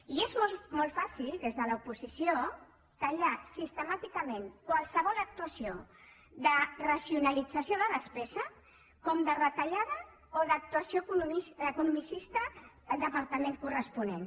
i és molt fàcil des de l’oposició titllar sistemàticament qualsevol actuació de racionalització de despesa com de retallada o d’actuació economicista al departament corresponent